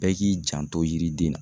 Bɛɛ k'i janto yiriden na.